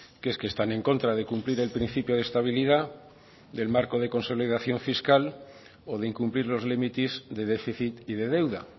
que es que están en contra de cumplir el principio de estabilidad del marco de consolidación fiscal o de incumplir los límites de déficit y de deuda